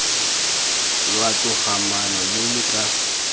lwa togamaano lo lo tla